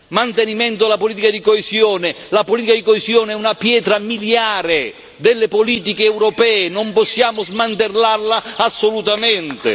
mantenimento della politica di coesione, perché la politica di coesione è una pietra miliare delle politiche europee, non possiamo smantellarla assolutamente.